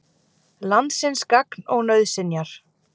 Landsins gagn og nauðsynjar.